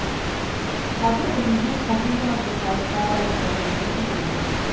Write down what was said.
қазір президент қасым жомарт тоқаевқа да ризашылығымды білдіремін